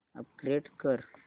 upgrade कर